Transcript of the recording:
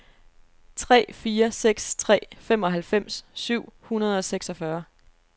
tre fire seks tre femoghalvfems syv hundrede og seksogfyrre